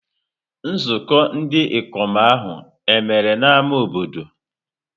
Nzukọ ndị ikom ahụ e mere n'ámá obodo?